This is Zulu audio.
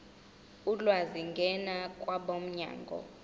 ulwazi ngena kwabomnyango